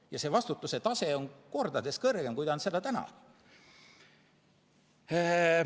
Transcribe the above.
Ja see vastutuse tase on kordades kõrgem, kui ta on seda täna.